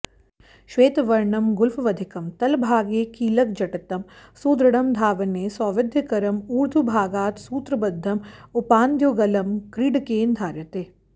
श्वेतवर्णं गुल्फवधिकं तलभागे कीलकजटितं सुदृढं धावने सौविध्यकरम् ऊर्ध्वभागात् सूत्रबद्धम् उपानद्युगलं क्रीडकेन धार्यते